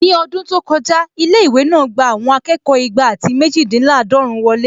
Ní ọdún tó kọjá, ilé-ìwé náà gbà àwọn akẹ́kọ̀ọ́ igba àti méjìdínláàdọ́run wọlé